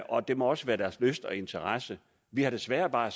og det må også være deres lyst og interesse vi har desværre bare